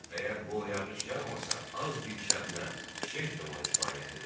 Əgər bol yağış yağmasa, az bir şəbnəm, şeyx də ona kifayət edər.